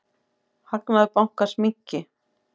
Hagnaður bankans minnki.